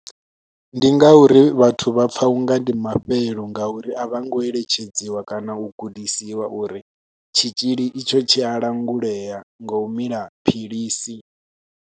Ndi ngauri vhathu vha pfha u nga ndi mafhelo ngauri a vho ngo eletshedziwa kana u gudisiwa uri tshitzhili itsho tshi a langulea ngo u mila philisi.